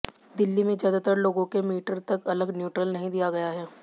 दिल्ली में ज्यादातर लोगों के मीटर तक अलग न्यूट्रल नहीं दिया गया है